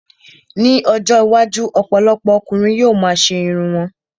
Ní ọjọ́ iwájú, ọ̀pọ̀lọpọ̀ ọkùnrin yóò ma ṣe irun wọn